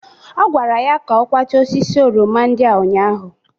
Ọ kwara ya ka ọ kwachaa osisi oroma ndị a ụnyaahụ